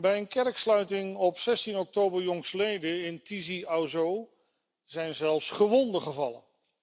Bij een kerksluiting op 16 oktober jongstleden in Tizi Ouzou zijn zelfs gewonden gevallen.